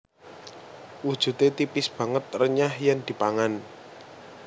Wujude tipis banget renyah yen dipangan